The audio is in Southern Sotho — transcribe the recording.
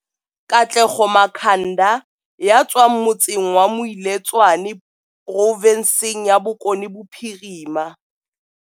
Katlego Makhanda ya tswang motseng wa Moiletswane provinseng ya Bokone Bophirima.